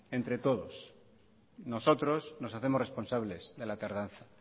entre todos nosotros nos hacemos responsables de la tardanza